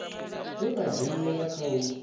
vhe vha dzhenelela kha u